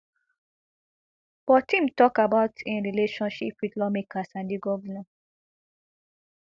but im tok about im relationship wit lawmakers and di govnor